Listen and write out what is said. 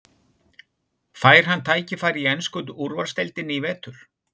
Fær hann tækifæri í ensku úrvalsdeildinni í vetur?